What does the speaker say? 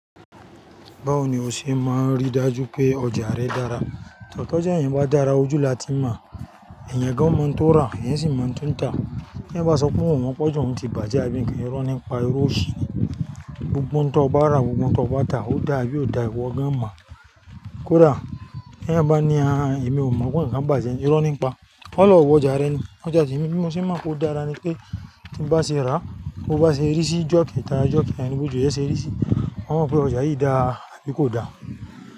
Báwo ni o ṣe máa rí dájú pé ọjà rẹ dára? Tọ̀ já èyán bá dára ojú la ti mọ̀. Ẹ̀yan gán mo ń tó rà, èyán sì mo ń tún ta. T'eyan bá sọ pé òun o mọ́ pọ́ jù oun ti bàjẹ́, irọ́ ní n pa irọ ọ̀ṣi ni. Gbogbo nǹkan tó bá rà, gbogbo nǹkan tó bá tà ó dáa bí ó dà wọ́n gan-an máa. Kódà t'eyan bá ní “àáà, èmi ò mọ̀”, kò ní kan bàjẹ́, irọ́ nípa. Ọ lọ wo ọjà rẹ ni. Ọjà tí èmi mo sì mọ̀ kó dára ni pé tí bá ṣe rà, bó bá ṣe rí sí ijọ́ kẹ̀ta ijọ́ kẹ̀rin yẹn, bó ju rẹ ṣe rí sí i, wọn mọ̀ pé ọjà yìí dáa àbí kò da.